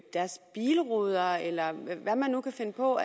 deres bilruder eller hvad man nu kan finde på